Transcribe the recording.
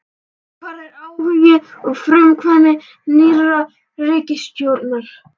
Hvar er áhugi og frumkvæði nýrrar ríkisstjórnar?